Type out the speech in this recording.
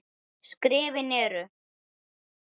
Skrefin eru